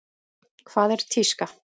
Hvað er tíska?